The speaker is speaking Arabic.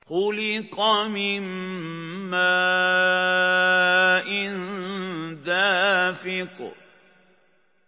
خُلِقَ مِن مَّاءٍ دَافِقٍ